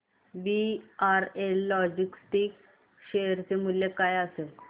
VRL logistics share चे मूल्य काय असेल